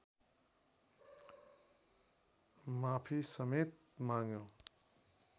माफी समेत माग्यो